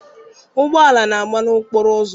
Ụgbọala na-agba n'okporo ụzọ.